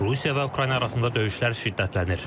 Rusiya və Ukrayna arasında döyüşlər şiddətlənir.